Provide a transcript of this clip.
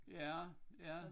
Ja ja